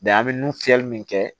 an bɛ nun fiyɛli min kɛ